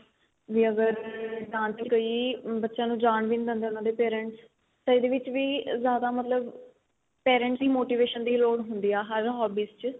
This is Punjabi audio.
ਬੀ ਅਗਰ ਜਾਣ ਚ ਕਈ ਬੱਚਿਆ ਨੂੰ ਜਾਣ ਵੀ ਨਹੀਂ ਦਿੰਦੇ ਉਹਨਾ ਦੇ parents ਤਾਂ ਇਹਦੇ ਵਿੱਚ ਵੀ ਜਿਆਦਾ ਮਤਲਬ parents ਦੀ motivation ਦੀ ਲੋੜ ਹੁੰਦੀ ਏ ਹਰ hobbies ਚ